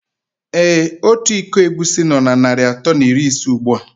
Ee Ọtu ịkọ egwusi nó na narị atọ na iri ise ugbua.